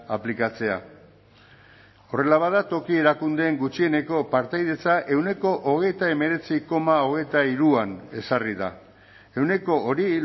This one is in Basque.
aplikatzea horrela bada toki erakundeen gutxieneko partaidetza ehuneko hogeita hemeretzi koma hogeita hiruan ezarri da ehuneko hori